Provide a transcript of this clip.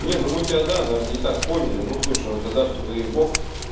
не ну мы тебя да наверно не так поняли но слушай тогда все заебок